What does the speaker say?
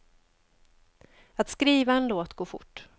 Att skriva en låt går fort.